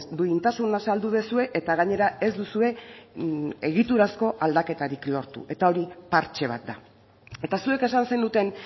duintasuna saldu duzue eta gainera ez duzue egiturazko aldaketarik lortu eta hori partxe bat da eta zuek esan zenuten